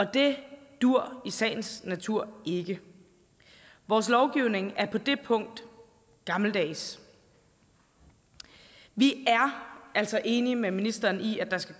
det duer i sagens natur ikke vores lovgivning er på det punkt gammeldags vi er altså enige med ministeren i at der skal